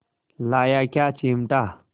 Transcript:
लाया क्या चिमटा